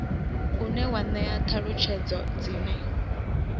une wa ṅea ṱhalutshedzo dzine